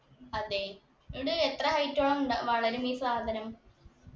അതെ ഇട് എത്ര height ഓളം ണ്ട വളരും ഈ സാധനം